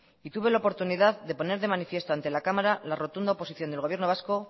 y tuve la oportunidad de poner de manifiesto ante la cámara la rotunda oposición del gobierno vasco